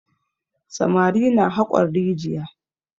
Samari na haƙon rijiya.